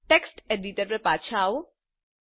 text editor પર પાછા આવો